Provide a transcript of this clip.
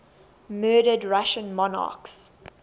murdered russian monarchs